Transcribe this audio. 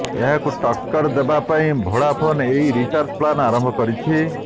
ଏହାକୁ ଟକ୍କର ଦେବା ପାଇଁ ଭୋଡାଫୋନ୍ ଏହି ରିଚାର୍ଜ ପ୍ଲାନ ଆରମ୍ଭ କରିଛି